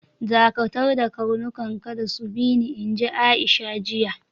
Dakatarda karnukan, kada su bi ni, inji Aisha, jiya.